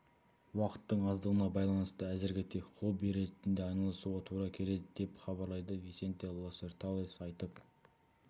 уақыттың аздығына байланысты әзірге тек хобби ретінде айналысуға тура келеді деп хабарлайды висенте лоссерталес айтып